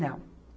Não.